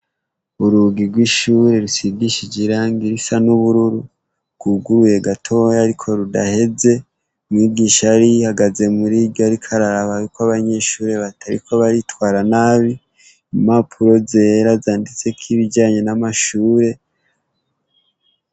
Urugi rw'ishure rusigishije irangi risa n'ubururu bwuguruye gatoya ariko rudaheze, umwigisha yari ahagaze murirya ariko araraba yuko abanyeshure batariko baritwara nabi imapuro zera zanditseko ibijanye n'amashure.